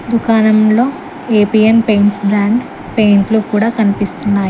దుకాణంలో A B N paints brand పెయింట్లు కూడా కనిపిస్తున్నాయ.